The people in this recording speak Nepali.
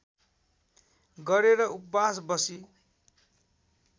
गरेर उपवास बसी